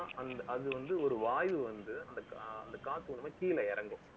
அது வந்து, ஒரு வாய்வு வந்து, அந்த அந்த காத்து வந்து, கீழே இறங்கும்